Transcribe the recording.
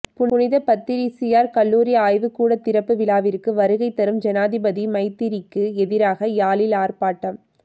புனித பத்திரிசியார் கல்லூரி ஆய்வு கூட திறப்பு விழாவிற்கு வருகை தரும் ஜனாதிபதி மைத்திரிக்கு எதிராக யாழில் ஆர்ப்பாட்டம்